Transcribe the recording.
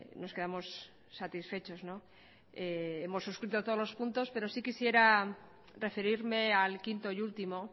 nos quedamos satisfechos no hemos suscrito todos los puntos pero sí quisiera referirme al quinto y último